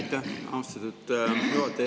Aitäh, austatud juhataja!